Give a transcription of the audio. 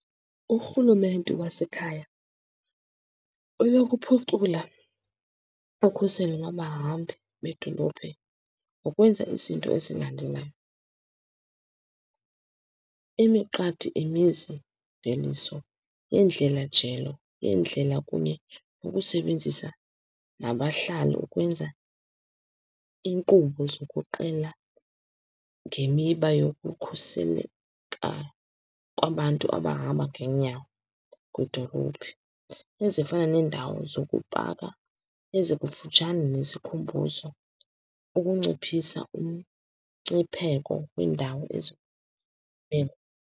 Urhulumente wasekhaya unokuphucula ukhuselo lwabahambi bedolophi ngokwenza izinto ezilandelayo. Imiqadi imizimveliso yendlelajelo yendlela, kunye nokusebenzisa nabahlali ukwenza iinkqubo zokuxela ngemiba yokukhuseleka kwabantu abahamba ngeenyawo kwidolophi, ezifana neendawo zokupaka ezikufutshane nesikhumbuzo, ukunciphisa umngcipheko weendawo .